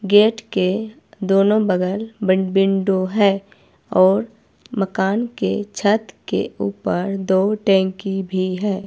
Gate के दोनों बगल बंद विंडो है और मकान के छत के ऊपर दो टंकी भी है।